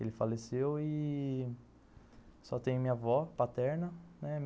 Ele faleceu ih... só tenho minha avó paterna.